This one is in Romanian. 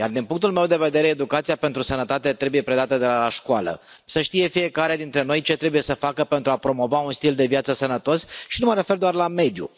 Iar, din punctul meu de vedere, educația pentru sănătate trebuie predată de la școală să știe fiecare dintre noi ce trebuie să facă pentru a promova un stil de viață sănătos, și nu mă refer doar la mediu.